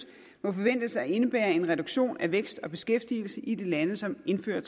må forventes at indebære en reduktion af vækst og beskæftigelse i de lande som indfører